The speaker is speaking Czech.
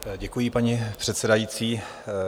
Děkuji, paní předsedající.